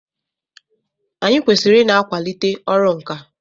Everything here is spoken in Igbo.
Anyị kwesịrị ị na-akwalite ọrụ nkà.